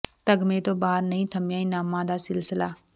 ਤਗਮੇ ਤੋਂ ਬਾਅਦ ਵੀ ਨਹੀਂ ਥਮਿਆ ਇਨਾਮਾਂ ਦਾ ਸਿਲਸਿਲਾ